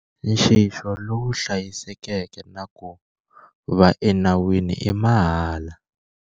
Nxixo lowu hlayisekeke na ku va enawini i mahala